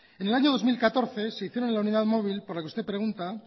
en el año dos mil catorce se hicieron en la unidad móvil por la que usted pregunta